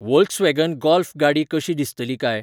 Volkswagen Golf गाडी कशी दिसतली काय?